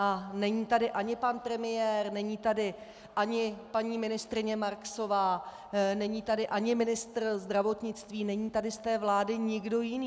A není tady ani pan premiér, není tady ani paní ministryně Marksová, není tady ani ministr zdravotnictví, není tady z té vlády nikdo jiný.